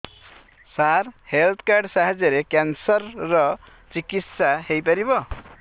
ସାର health card ସାହାଯ୍ୟରେ cancer ର ଚିକିତ୍ସା ହେଇପାରିବ